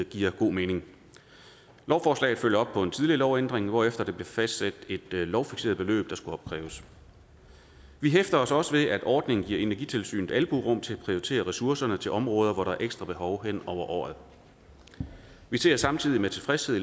giver god mening lovforslaget følger op på en tidligere lovændring hvorefter der blev fastsat et lovfikseret beløb der skulle opkræves vi hæfter os også ved at ordningen giver energitilsynet albuerum til at prioritere ressourcerne til områder hvor der er et ekstra behov hen over året vi ser samtidig med tilfredshed